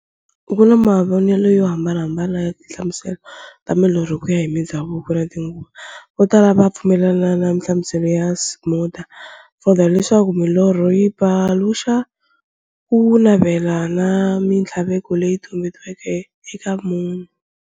Ku na mavonele yo hambanahambana ya tinhlamuselo ta milorho, kuya hi mindzhavuko na tinguva. Votala va pfumelana na nhlamuselo ya Sigmund Freud, leswaku milorho yi paluxa kunavela na minthlaveko leyi tumbeleke eka munhu.